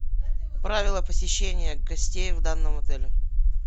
правила посещения гостей в данном отеле